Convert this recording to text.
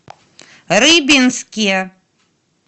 рыбинске